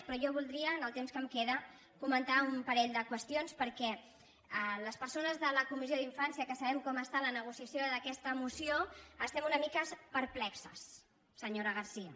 però jo voldria en el temps que em queda comentar un parell de qüestions perquè les persones de la co·missió d’infància que sabem com està la negociació d’aquesta moció estem una mica perplexes senyora garcía